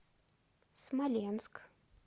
смоленск